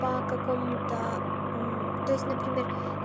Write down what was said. по какому-то то есть например